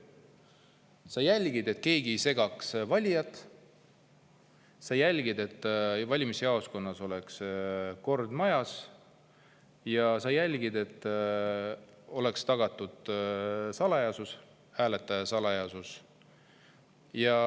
Sa jälgid, et keegi ei segaks valijaid, sa jälgid, et valimisjaoskonnas oleks kord majas, sa jälgid, et oleks tagatud hääletamise salajasus.